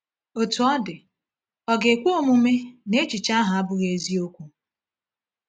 Otú ọ dị, ọ ga-ekwe omume na echiche ahụ abụghị eziokwu?